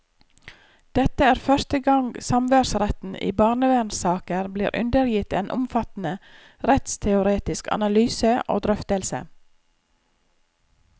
Dette er første gang samværsretten i barnevernssaker blir undergitt en omfattende rettsteoretisk analyse og drøftelse.